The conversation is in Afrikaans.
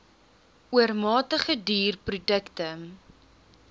oormatige duur produkte